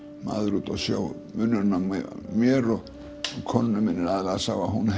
maður úti á sjó munurinn á mér og á konunni minni er aðallega sá að hún